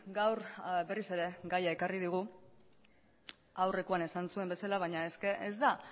gaur berriz ere gaia ekarri digu aurrekoan esan zuen bezala baina ez da